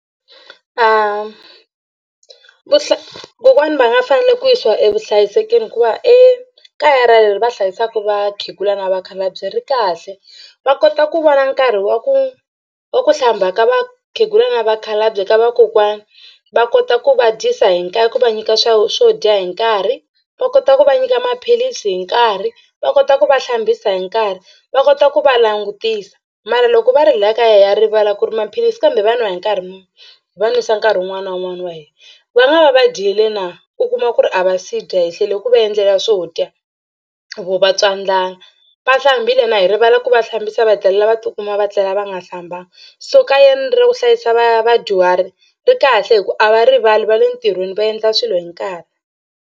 kokwana va nga fanele ku yisiwa evuhlayisekeni hikuva ekaya ra leri va hlayisaka vakhegula na vakhalabye ri kahle va kota ku vona nkarhi wa ku wa ku hlamba ka vakhegula na vakhalabye ka vakokwana. Va kota ku va dyisa hi ku va nyika swa swo dya hi nkarhi va kota ku va nyika maphilisi hi nkarhi va kota ku va hlambisa hi nkarhi va kota ku va langutisa mara loko va ri hi laha kaya ha rivala ku ri maphilisi kambe va n'wa hi nkarhi muni hi va nwisa nkarhi wun'wana na wun'wana wa hina. Va nga va va dyile na u kuma ku ri a va si dya hi hlweli ku va endlela swo dya vo va twa ndlala va hlambile na hi rivala ku va hlambisa va hetelela va tikuma va tlela va nga hlamba so kayeni ra ku hlayisa va vadyuhari ri kahle hi ku a va rivali va le ntirhweni va endla swilo hi nkarhi.